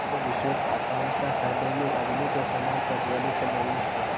कोई विशेष आकांक्षा हृदय में अग्नि के समान प्रज्वलित नहीं